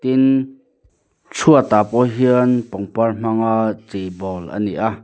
tin chhuat ah pawh hian pangpar hmang a chei bawl a ni a.